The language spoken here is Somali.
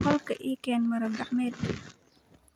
Qolka ii keen maro-gacmeed.